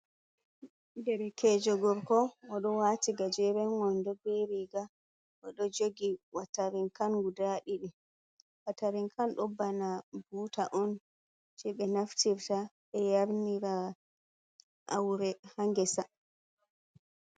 Ɗerekejo gorko odo wati gajeren wondo be riga. Odo jogi watarinkan guda ɗiɗi. Watarinkan ɗo bana buta on je be naftirta be yarnira aure ha ngesa.